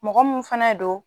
Mɔgɔ min fɛnɛ don